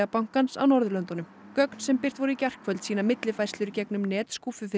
bankans á Norðurlöndunum gögn sem birt voru í gærkvöld sýna millifærslur í gegnum net